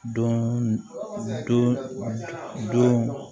Don